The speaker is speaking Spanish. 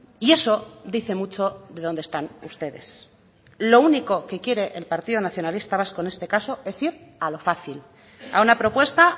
y eso dice mucho de dónde están ustedes lo único que quiere el partido nacionalista vasco en este caso es ir a lo fácil a una propuesta